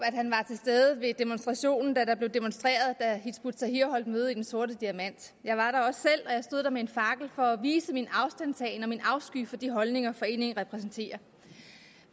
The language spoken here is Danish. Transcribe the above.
stede ved demonstrationen da der blev demonstreret da hizb ut tahrir holdt møde i den sorte diamant jeg var der også selv og jeg stod der med en fakkel for at vise min afstandtagen til og min afsky for de holdninger foreningen repræsenterer